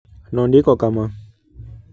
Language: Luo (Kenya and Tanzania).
Nondiko kama: